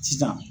Sisan